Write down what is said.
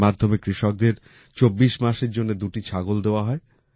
এর মাধ্যমে কৃষকদের ২৪ মাসের জন্য দুটি ছাগল দেওয়া হয়